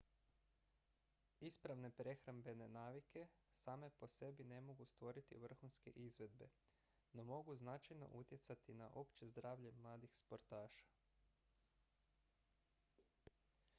ispravne prehrambene navike same po sebi ne mogu stvoriti vrhunske izvedbe no mogu značajno utjecati na opće zdravlje mladih sportaša